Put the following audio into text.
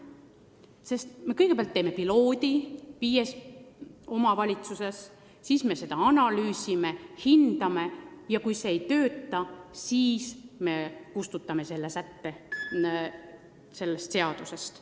Kõigepealt me käivitame pilootprojekti viies omavalitsuses, siis me analüüsime, hindame tulemusi, ja kui see ei tööta, siis me kustutame selle sätte sellest seadusest.